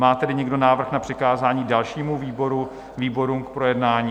Má tedy někdo návrh na přikázání dalšímu výboru - výborům k projednání?